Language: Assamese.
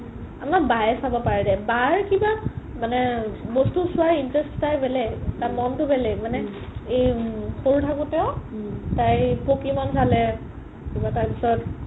আমাৰ বায়ে চাব পাৰে দেই বাৰ কিবা মানে বস্তু চোৱাৰ interest টো তাইৰ বেলেগ তাইৰ মনতো বেলেগ মানে এই সৰু থাকোতেও উম তাই পকিমন চালে কিবা তাৰ পিছত